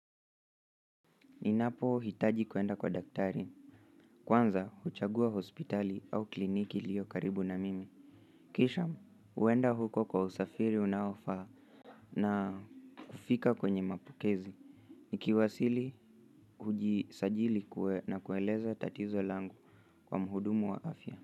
Ninapo hitaji kuenda kwa daktari. Kwanza, huchagua hospitali au kliniki ilio karibu na mimi. Kisha, huenda huko kwa usafiri unaofaa na kufika kwenye mapukezi. Nikiwasili, hujisajili kue na kueleza tatizo langu kwa muhudumu wa afya.